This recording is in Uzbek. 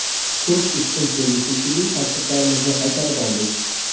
Turk ustun keldi, shekilli, pasportlarimizni qaytarib oldik.